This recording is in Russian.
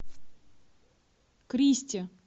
кристе